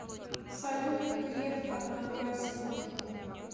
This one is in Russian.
салют греф одноклассники